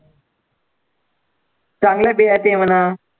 चांगले देहाती आहे म्हणा.